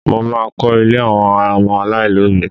Mo má a kọ́ ilé àwọn ọmọ aláìlóbìí